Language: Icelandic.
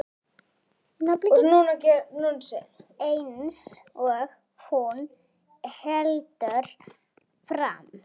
Eins og hún heldur fram.